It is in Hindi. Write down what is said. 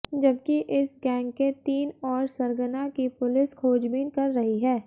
जबकि इस गैंग के तीन और सरगना की पुलिस खोजबीन कर रही है